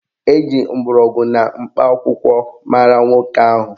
Eji mgbọrọgwụ na mkpa akwụkwọ mara nwoke ahụ